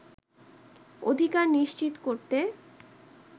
অধিকার নিশ্চিত করতে